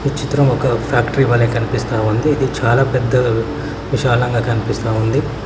ఈ చిత్రం ఒక ఫ్యాక్టరీ వలే కనిపిస్తా ఉంది ఇది చాలా పెద్దగా విశాలంగా కనిపిస్తా ఉంది.